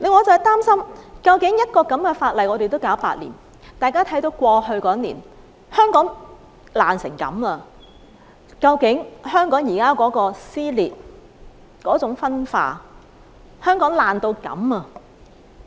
我擔心的是，這樣一項法例也要處理8年，大家看到過去一年，香港已經損毀到這種程度。